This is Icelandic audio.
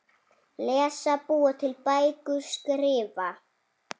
Lesa- búa til bækur- skrifa